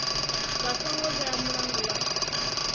vha songo vhea mulandu wa